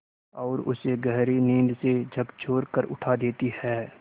और उसे गहरी नींद से झकझोर कर उठा देती हैं